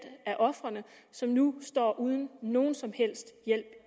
af ofrene som nu står uden nogen som helst hjælp